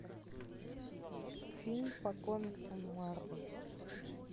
фильм по комиксам марвел